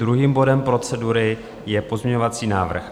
Druhým bodem procedury je pozměňovací návrh